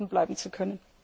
bleiben zu können.